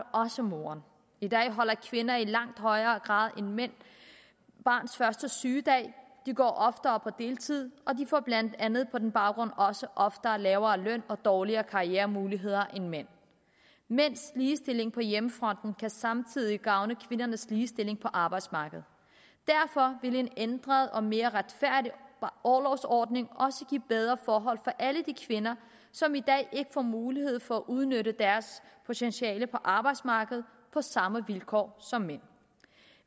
også moren i dag holder kvinder i langt højere grad end mænd barns første sygedag de går oftere på deltid og de får blandt andet på den baggrund også oftere lavere løn og dårligere karrieremuligheder end mænd mænds ligestilling på hjemmefronten kan samtidig gavne kvindernes ligestilling på arbejdsmarkedet derfor vil en ændret og mere retfærdig orlovsordning også give bedre forhold for alle de kvinder som i dag ikke får mulighed for at udnytte deres potentiale på arbejdsmarkedet på samme vilkår som mænd